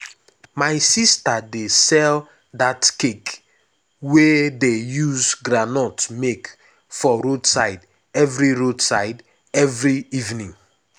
my sister dey sell dat cake wey dey use groundnut make for roadside every roadside every evening. um